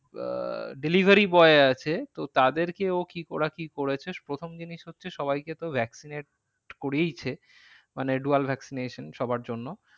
আহ delivery boy আছে তো তাদেরকে ও কি, ওরা কি করেছে প্রথম জিনিস হচ্ছে সবাকে তো vaccinated করেছে। মানে vaccination সবার জন্য।